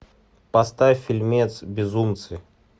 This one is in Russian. поставь фильмец безумцы